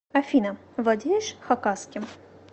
афина владеешь хакасским